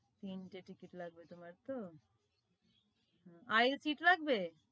তিনটে ticket লাগবে তোমার তো aylseat লাগবে